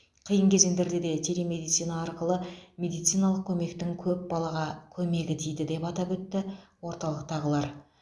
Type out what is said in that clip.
қиын кезеңдерде де телемедицина арқылы медициналық көмектің көп балаға көмегі тиді деп атап өтті орталықтағылар